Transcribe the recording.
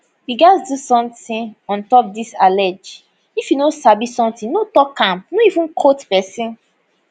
we gatz do somtin ontop disallege if you no sabi somtin no tok am no even quote pesin